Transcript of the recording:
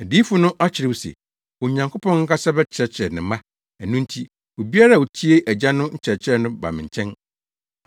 Adiyifo no akyerɛw se, ‘Onyankopɔn ankasa bɛkyerɛkyerɛ ne mma.’ Ɛno nti, obiara a otie Agya no nkyerɛkyerɛ no ba me nkyɛn.